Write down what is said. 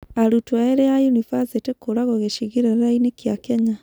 Arutwo erĩ a yunibacĩtĩ kũũragwo gĩcigĩrĩra-inĩ kĩa Kenya